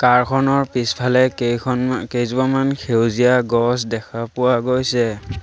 কাৰ খনৰ পিছফালে কেইখনমা কেইজোপামান সেউজীয়া গছ দেখা পোৱা গৈছে।